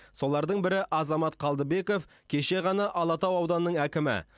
солардың бірі азамат қалдыбеков кеше ғана алатау ауданының әкімі